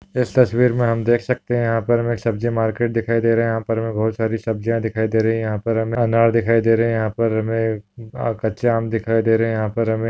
इस तस्वीर मे हम देख सखते है यहा पर हमे सब्जी मार्केट दिखाई दे रहे है यहा पर हमे बहुत सारी सब्जिया दिखाई दे रही है यहा पर हमें अनार दिखाई दे रहे है यहा पर हमे कच्चे आम दिखाई दे रहे है यहा पर हमे --